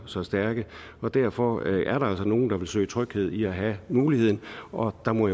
så stærke og derfor er der altså nogle der vil søge tryghed i at have muligheden og der må